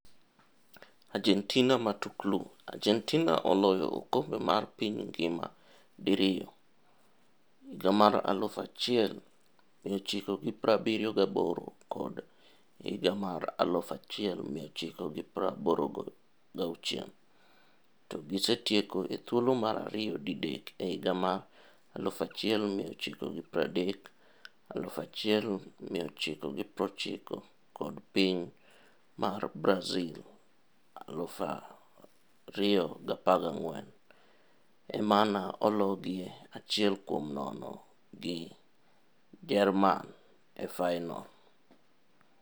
Argentina Matuklu: Argentina oloyo okombe mar piny ngima di riyo - 1978 kod 1986 - to gisetieko ethuolo mar ariyo didek e higa mar1930, 1990 kod piny mar Brazil 2014, emane ologie 1-0 gi Jerman e fainol.